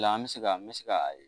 O la an bɛ se ka n bɛ se ka